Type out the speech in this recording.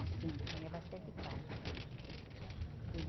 Ah, sim, tinha bastante parque.